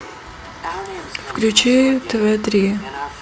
включи тв три